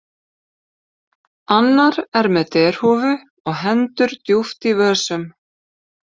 Annar er með derhúfu og hendur djúpt í vösum.